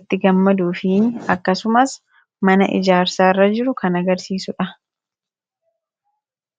itti gammaduu fi akkasumaas mana ijaarsaa irra jiru kan agarsiisuudha